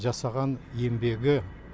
жасаған еңбегі